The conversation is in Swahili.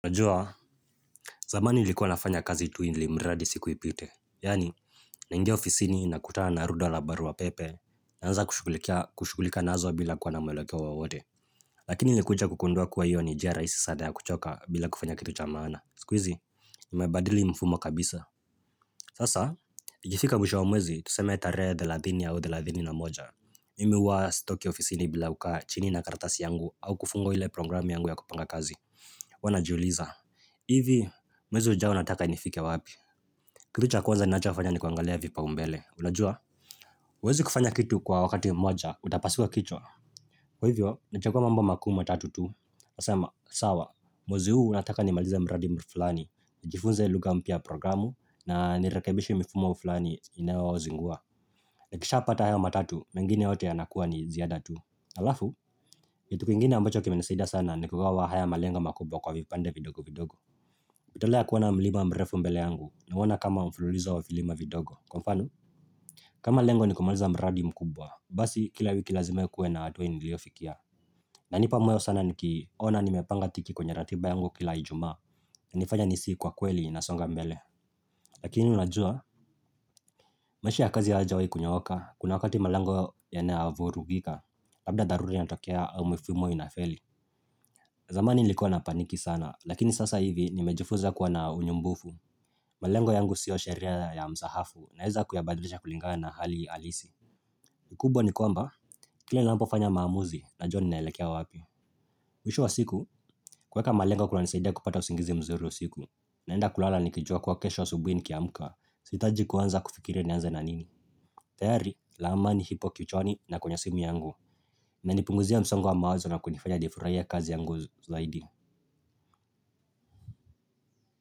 Najua zamani nilikuwa nafanya kazi tu ili mradi siku ipite Yaani Nainge ofisini nakutana na rudwa la barua pepe Naanza kushughulika nazo bila kuwa na mwelekea wowote Lakini nilikuja kukugundua kuwa hiyo ni njia rahisi sana ya kuchoka bila kufanya kitu cha maana siku hizi Nimebadili mfumo kabisa Sasa nikifika mwisho wa mwezi tusema tarehe thelathini au thelathini na moja Mimi huwa sitoki ofisini bila kukaa chini na karatasi yangu au kufunga ile programu yangu ya kupanga kazi Huwa najiuliza Ivi, mwezi ujao nataka nifike wapi Kitu cha kwanza ninachokufanya ni kuangalia vipaumbele Unajua? Huwezi kufanya kitu kwa wakati moja, utapasua kichwa Kwa hivyo, nachagua mambo makuu matatu tu Nasema, sawa, mwezi huu nataka nimalize mradi fulani nijifunze lugha mpya ya programu na nirekebishe mifumo fulani inayozingua Nikishapata haya matatu, mengine yote yanakuwa ni ziada tu alafu, yetu kingine ambacho kimenisaida sana ni kugawa haya malengo makubwa kwa vipande vidogo vidogo tolea kuona mlima mrefu mbele yangu nauona kama mfululizo wa vilima vidogo. Kwa mfano, kama lengo nikumaliza mradi mkubwa, basi kila wiki lazime kuwe na hatua niliyofikia. Nanipa moyo sana nikiona nimepanga tiki kwenye ratiba yangu kila ijumaa inanifanya nisihi kwa kweli nasonga mbele. Lakini unajua, maisha ya kazi hayajawi kunyooka, kuna wakati malango yanavu rugika, labda tharura inatokea au mifumo inafeli. Zamani nilikuwa napaniki sana, lakini sasa hivi nimejifunza kuwa na unyumbufu. Malengo yangu sio sheria ya mzahafu naeza kuyabadilisha kulinganga na hali halisi kikubwa ni kwamba, kilaninapofanya maamuzi najua ninaelekea wapi, mwisho wa siku, kueka malengo kunanisaidia kupata usingizi mzuru siku naenda kulala nikijua kuwa kesho asubuhi nikiamuka, siitaji kuanza kufikiri nianze na nini tayari, lama ni hipo kichwani na kwenye simu yangu Nanipunguzia msongo wa mawazo na kunifanya nifurahie kazi yangu zaidi.